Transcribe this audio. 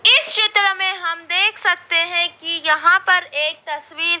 इस चित्र में हम देख सकते हैं कि यहां पर एक तस्वीर--